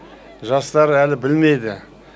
жастар әлі білмейді